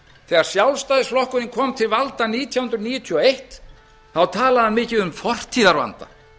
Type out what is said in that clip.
þegar sjálfstæðisflokkurinn kom til valda nítján hundruð níutíu og einn talaði hann mikið um fortíðarvanda